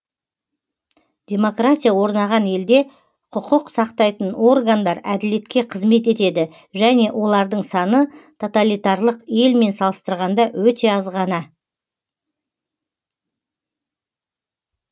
демократия орнаған елде құқық сақтайтын органдар әділетке қызмет етеді және олардың саны тоталитарлық елмен салыстырғанда өте аз ғана